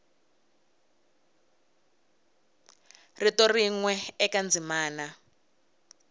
rito rin we eka ndzimana